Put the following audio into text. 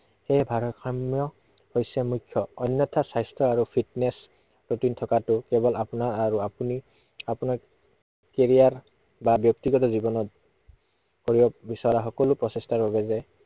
সেই ভাৰসাম্য় হৈছে মুখ্য। অন্য়থা স্বাস্থ্য আৰু fitness routine থকাটো কেৱল আপোনাৰ আৰু আপুনি, আপোনাৰ career বা ব্য়ক্তিগত জীৱনত কৰিব বিচৰা সকলো প্ৰচেষ্টাৰ লগে লগে